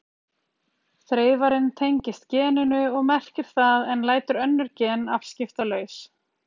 Þreifarinn tengist geninu og merkir það en lætur önnur gen afskiptalaus.